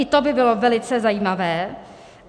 I to by bylo velice zajímavé.